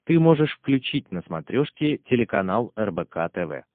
ты можешь включить на смотрешке телеканал рбк тв